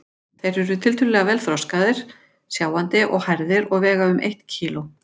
Þeir eru tiltölulega vel þroskaðir, sjáandi og hærðir og vega um eitt kíló.